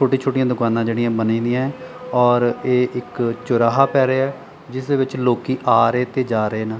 ਛੋਟੀਆ ਛੋਟੀਆਂ ਦੁਕਾਨਾਂ ਜਿਹੜੀਆਂ ਬਣੀਦੀਆਂ ਔਰ ਇਹ ਇੱਕ ਚੌਰਾਹਾ ਪੈ ਰਿਹਾ ਜਿਸ ਦੇ ਵਿੱਚ ਲੋਕੀ ਆ ਰਹੇ ਤੇ ਜਾ ਰਹੇ ਨੇ।